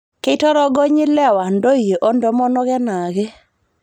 Keitorogony lewa ntoyie oo ntomonok enaake